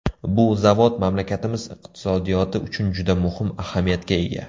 Bu zavod mamlakatimiz iqtisodiyoti uchun juda muhim ahamiyatga ega.